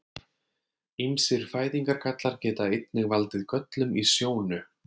Ýmsir fæðingargallar geta einnig valdið göllum í sjónu.